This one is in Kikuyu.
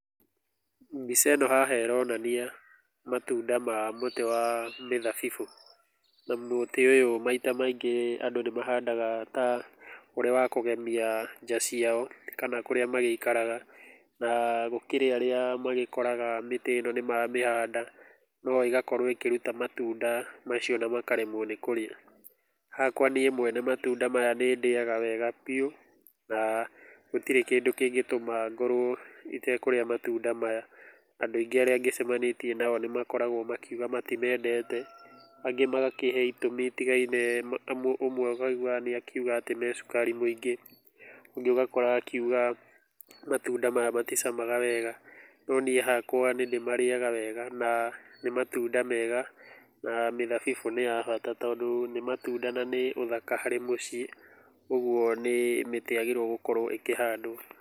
Mbica ĩno haha ĩronania matunda ma mũtĩ wa mĩthabibũ. Na mũtĩ ũyũ maita maingĩ andũ nĩ mahandaga ũrĩ ta ũrĩ wa kũgemia nja ciao kana kũrĩa magĩikaraga. Na gũkĩrĩ arĩa magĩkoraga mĩtĩ ĩno nĩ mamĩhanda no ĩgakorwo ĩkĩruta matunda macio na makaremwo nĩ kũrĩa. Hakwa niĩ mwene matunda maya nĩ ndĩaga wega biũ na gũtirĩ kĩndũ kĩngĩtũma ngorwo ĩtekũrĩa matunda maya. Andũ aingĩ arĩa ngĩceanĩtie nao nĩ makoragwo makiuga matimendete, angĩ magakĩhe itũmi itigaine, ũmwe ngaigu akiuga atĩ me cukari mũingĩ, ũngĩ ũgakora akiuga matunda maya maticamaga wega. No niĩ hakwa nĩ ndĩmarĩaga wega na nĩ matunda mega na mĩthabibũ nĩ ya bata tondũ nĩ matunda na nĩ ũthaka harĩ mĩciĩ. Ũguo ni mĩtĩ yaagĩrĩirwo gũkorwo ĩkĩhandwo.